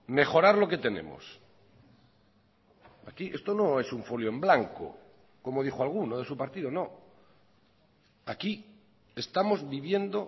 mejorar lo que tenemos aquí esto no es un folio en blanco como dijo alguno de su partido no aquí estamos viviendo